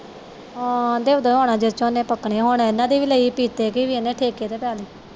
ਹਾਂ ਦੋ ਦੀਵਾਨਾ ਵਿਚ ਓਹਨੇ ਪੱਕਣੀ ਹੁਣ ਇਹਨਾਂ ਦੀ ਵੀ ਲਈ ਕੀਤੀ ਦੀ ਇਹਨੇ ਠੇਕੇ ਤੇ ਪਾ ਲਈ